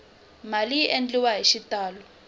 mali yi endliwa hi xitalo